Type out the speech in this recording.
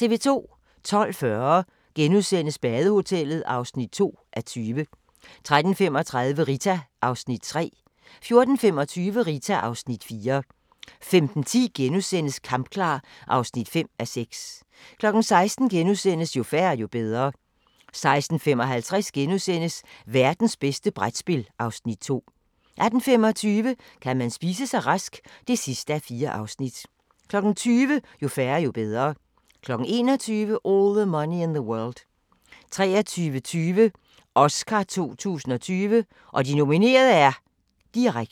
12:40: Badehotellet (2:20)* 13:35: Rita (Afs. 3) 14:25: Rita (Afs. 4) 15:10: Kampklar (5:6)* 16:00: Jo færre, jo bedre * 16:55: Værtens bedste brætspil (Afs. 2)* 18:25: Kan man spise sig rask? (4:4) 20:00: Jo færre, jo bedre 21:00: All the Money in the World 23:20: Oscar 2020: Og de nominerede er... - direkte